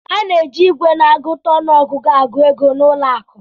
A na-eji igwe na-agụta ọnụ ọgụgụ agụ ego n'ụlọ akụ